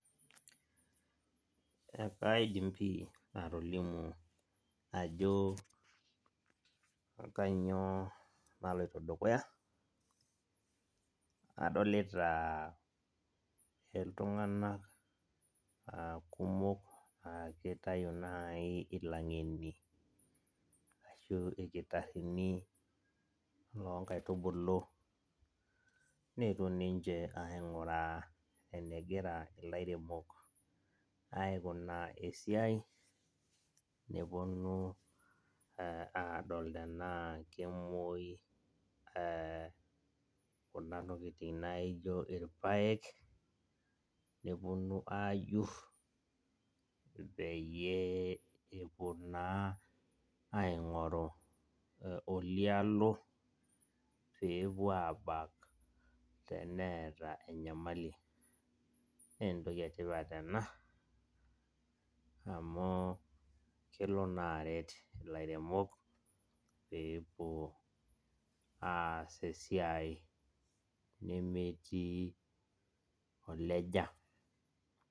Kaidim pii atolimu ajo kanyiio naloito dukuya. Adolita iltunganak aa kumok aa kitayu naai ilangeni, ashuu ilkitarini loo nkaitubulu neetuo ninje ainguraa enegira ilairemok aikunaa esiai, neponu aadol tenaa kemoi kuna tokitin naijo ilpayek, neponu aajur, peyie epuo naa ainkoru olialo peepuo aabak teneata enyamali. Naa entoki etipat ena amu kelo naa aret ilairemok, peepuo aas esiai nemetii oleja.